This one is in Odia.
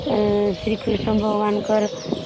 ଶ୍ରୀ କୃଷ୍ଣ ଭଗବାନ ଙ୍କର ସେ